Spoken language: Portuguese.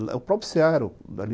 Não, o próprio cê a